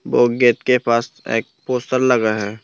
वो गेट के पास एक पोस्टर लगा है।